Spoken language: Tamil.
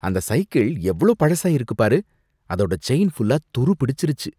அந்த சைக்கிள் எவ்ளோ பழசாயிருக்கு பாரு. அதோட செயின் ஃபுல்லா துருப் பிடிச்சிருச்சு.